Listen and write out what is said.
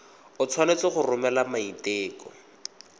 o tshwanetse go romela maiteko